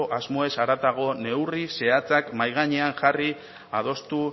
asmoez haratago neurri zehatzak mahai gainean jarri adostu